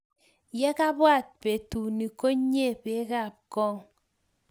Ye kabwat betuni, konyio pek ab kong'